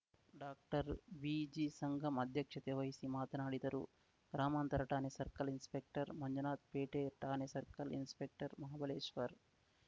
ಡಾಕ್ಟರ್ಬಿಜಿಸಂಗಮ್‌ ಅಧ್ಯಕ್ಷತೆ ವಹಿಸಿ ಮಾತನಾಡಿದರು ಗ್ರಾಮಾಂತರ ಠಾಣೆ ಸರ್ಕಲ್‌ ಇನ್ಸ್‌ಪೆಕ್ಟರ್‌ ಮಂಜುನಾಥ್‌ ಪೇಟೆ ಠಾಣೆ ಸರ್ಕಲ್‌ ಇನ್ಸ್‌ಪೆಕ್ಟರ್‌ ಮಹಾಬಲೇಶ್ವರ್‌